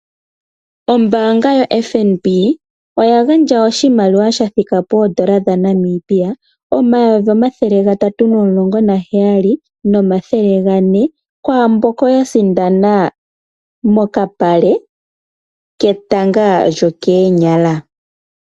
Ombanga yo FNB oya gandja oshimaliwa shathika pondola dhaNamibia N$ 317400, kwamboka ya sindana mokapale ketanga lyokoonyala.